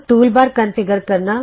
toolbar configure ਕਰਨਾ